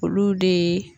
Olu de